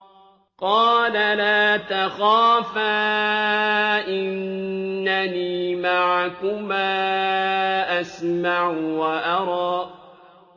قَالَ لَا تَخَافَا ۖ إِنَّنِي مَعَكُمَا أَسْمَعُ وَأَرَىٰ